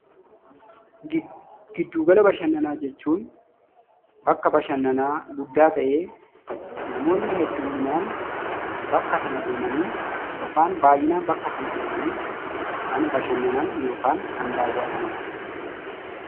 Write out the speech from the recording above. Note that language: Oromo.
Gidduugala bashannanaa jechuun bakka bashannanaa guddaa ta'ee namoonni heddumminaan bakka sana deemanii yookaan baay'inaan bakka sana deemanii kan bashannanan yookaan kan daawwatanidha.